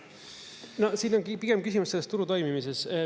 No siin ongi pigem küsimus selles turu toimimises.